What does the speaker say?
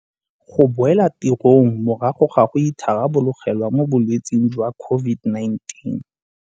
Go boela tirong morago ga go itharabologelwa mo bolwetseng jwa COVID-19.